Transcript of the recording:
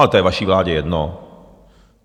Ale to je vaší vládě jedno.